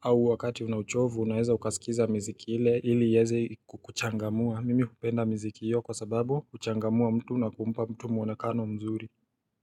au wakati unauchovu unaeza ukaskiza mziki ile ili yeze kuchangamua Mimi kupenda mziki yu kwa sababu kuchangamua mtu na kumpa mtu muanekano mzuri.